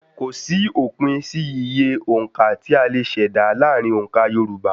Kòsí òpin sí iye òǹka tí a lè ṣèdá láti ara òǹkà Yorùbá